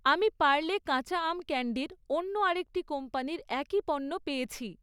আমি পার্লে কাঁচা আম ক্যান্ডির অন্য আরেকটি কোম্পানির একই পণ্য পেয়েছি৷